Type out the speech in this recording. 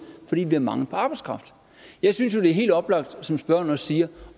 fordi vi har mangel på arbejdskraft jeg synes jo det er helt oplagt som spørgeren også siger